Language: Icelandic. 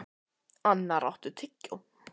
Ónarr, áttu tyggjó?